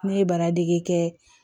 Ne ye baradege kɛ